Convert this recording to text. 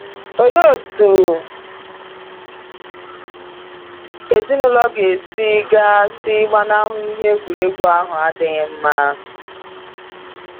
Olee otú ezinụlọ ga si ga si gbanahụ ihe egwuregwu ahụ adịghị mma?